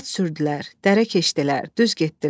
At sürdülər, dərə keçdilər, düz getdilər.